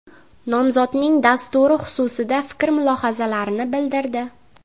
Nomzodning dasturi xususida fikr-mulohazalarini bildirdi.